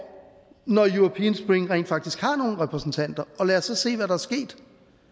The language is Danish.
når european spring rent faktisk har nogle repræsentanter og lad os så se hvad der er sket